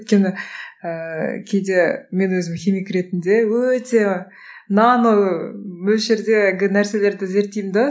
өйткені ііі кейде мен өзім химик ретінде өте нано мөлшердегі нәрселерді зерттеймін де